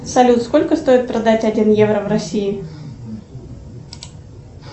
салют сколько стоит продать один евро в россии